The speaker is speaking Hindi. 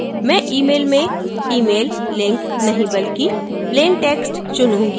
मैं email में email link नहीं बल्कि plain text चुनूँगी